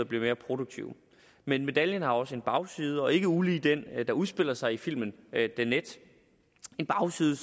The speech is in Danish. bliver mere produktive men medaljen har også en bagside ikke ulig den der udspiller sig i filmen the net en bagside